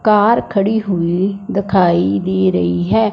Car खड़ी हुई दिखाई दे रही है।